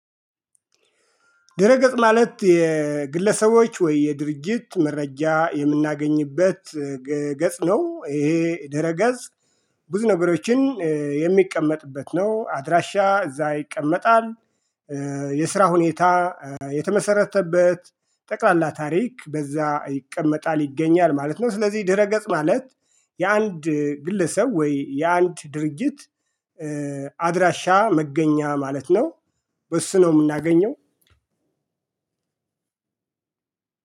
ድህረገጽ ማለት የግለሰቦች ወይ የድርጅት መረጃ የምናገኝበት ገጽ ነው። ይሄ ድህረገጽ ብዙ ነገሮችን የሚቀመጥበት ነው አድራሻ እዛ ይቀመጣል። የስራ ሁኔታ የተመሰረተበት ጠቅላላ ታሪክ በዛ ይቀመጣል ይገኛል ማለት ነው። ስለዚህ ድህረ ገጽ ማለት የአንድ ግለሰብ ወይ የአንድ ድርጅት አድራሻ መገኛ ማለት ነው። በሱነው የምናገኘው